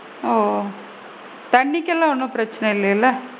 ஓ! தண்ணிக்குலா ஒன்னும் பிரச்னை இல்லைலைல?